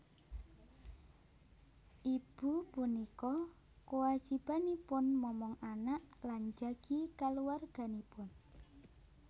Ibu punika kwajibanipun momong anak lan njagi kaluwarganipun